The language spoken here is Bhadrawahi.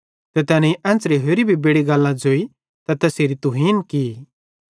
ते तैनेईं एन्च़रे होरि भी बेड़ि गल्लां ज़ोइ ते तैसेरी तुहीन की